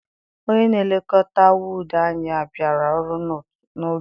Onye na-elekọta wọdu anyị abiara ọrụ n'oge.